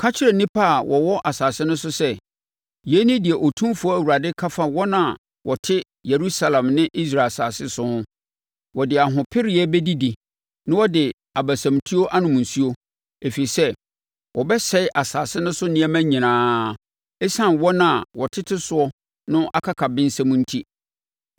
Ka kyerɛ nnipa a wɔwɔ asase no so sɛ, ‘Yei ne deɛ Otumfoɔ Awurade ka fa wɔn a wɔte Yerusalem ne Israel asase so ho: Wɔde ahopereɛ bɛdidi na wɔde abasamutuo anom nsuo, ɛfiri sɛ wɔbɛsɛe asase no so nneɛma nyinaa, ɛsiane wɔn a wɔtete soɔ no akakabensɛm enti.